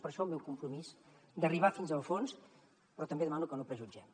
per això el meu compromís d’arribar fins al fons però també demano que no prejutgem